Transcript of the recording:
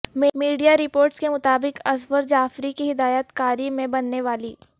media reports کے مطابق اصفر جعفری کی ہدایت کاری میں بننے والی